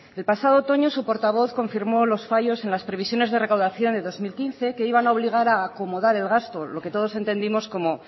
el pasado otoño su portavoz confirmó los fallos en las previsiones de recaudación de dos mil quince que iban a obligar a acomodar el gasto lo que todos entendimos como